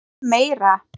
Jafnvel meira.